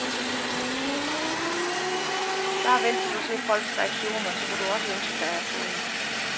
Bare vent til du ser folks reaktioner, så vil du også ønske dig at få en.